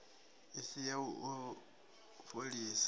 i si ya u fholisa